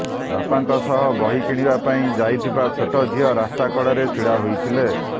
ବାପାଙ୍କ ସହ ବହି କିଣିବା ପାଇଁ ଯାଇଥିବା ଛୋଟ ଝିଅ ରାସ୍ତା କଡ଼ରେ ଛିଡ଼ା ହୋଇଥିଲେ